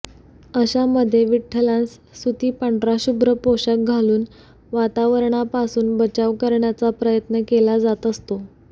अशामधे विठठलांस सुती पांढरा शुभ्र पोशाख घालून वातावरणापासून बचाव करण्याचा प्रयत्न केला जात असतो